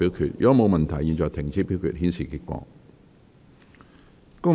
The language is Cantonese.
如果沒有問題，現在停止表決，顯示結果。